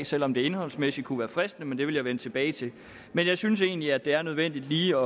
selv om det indholdsmæssigt kunne være fristende men det vil jeg vende tilbage til men jeg synes egentlig at det er nødvendigt lige